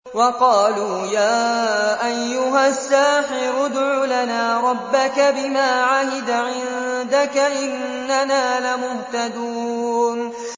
وَقَالُوا يَا أَيُّهَ السَّاحِرُ ادْعُ لَنَا رَبَّكَ بِمَا عَهِدَ عِندَكَ إِنَّنَا لَمُهْتَدُونَ